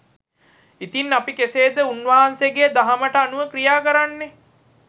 ඉතින් අපි කෙසේද උන්වහන්සෙගේ දහමට අනුව ක්‍රියා කරන්නේ